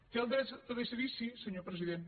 té el dret de decidir sí senyor president